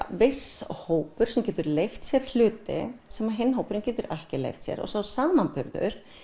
viss hópur sem getur leyft sér hluti sem hinn hópurinn getur ekki leyft sér og sá samanburður